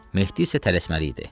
Mehdi isə tələsməli idi.